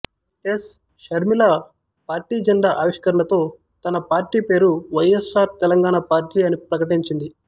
yes Sharmila party జెండా ఆవిష్కరణతో తన పార్టీ పేరు వైఎస్ఆర్ తెలంగాణ పార్టీ అని ప్రకటించింది